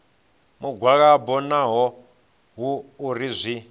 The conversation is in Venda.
mugwalabo naho hu uri zwi